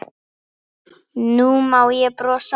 Nú má ég brosa.